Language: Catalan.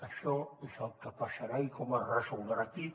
això és el que passarà i com es resoldrà aquí